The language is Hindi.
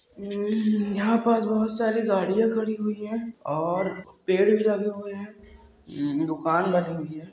ऊऊ-- यहां पर आज बहुत सारी गाड़ियां खड़ी हुई हैं और पेड़ भी लगे हुए हैं। ऊऊ-- दुकान बनी हुई है।